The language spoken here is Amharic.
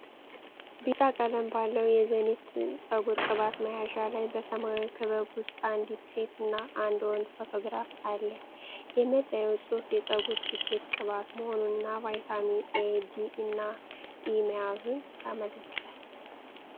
ቢጫ ቀለም ባለው የ"ዘኒት"*ፀጉር ቅባት መያዣ ላይ፣ በሰማያዊ ክበብ ውስጥ አንዲት ሴት እና አንድ ወንድ ፎቶግራፍ አለ። የመለያው ጽሑፍ የፀጉር ስኬት ቅባት መሆኑንና ቫይታሚን ኤ፣ ዲ እና ኢ መያዙን ያመለክታል።